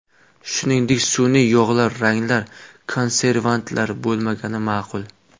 Shuningdek sun’iy yog‘lar, ranglar, konservantlar bo‘lmagani ma’qul.